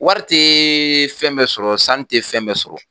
Wari tɛ fɛn bɛɛ sɔrɔ, sanu tɛ fɛn bɛɛ sɔrɔ